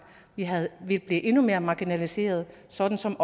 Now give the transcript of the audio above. blive endnu mere marginaliseret sådan som